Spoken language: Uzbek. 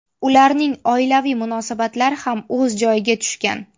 Ularning oilaviy munosabatlari ham o‘z joyiga tushgan.